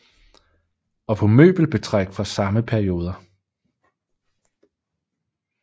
Og på møbelbetræk fra samme perioder